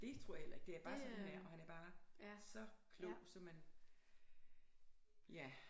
Det tror jeg heller ikke det er bare sådan han er og han er bare så klog så man ja